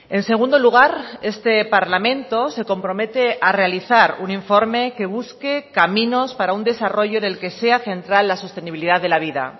en segundo lugar este parlamento se compromete a realizar un informe que busque caminos para un desarrollo en el que sea central la sostenibilidad de la vida